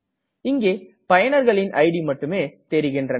இங்கே பயனர்களின் இட் மட்டுமே தெரிகின்றன